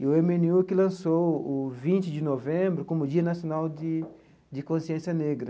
E o eme ene u é que lançou o vinte de novembro como o Dia Nacional de de Consciência Negra.